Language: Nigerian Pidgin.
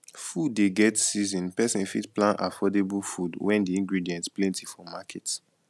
food dey get season person fit plan affordable food when di ingredient plenty for market